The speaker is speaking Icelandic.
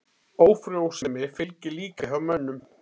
Ófrjósemi fylgir líka hjá mönnum.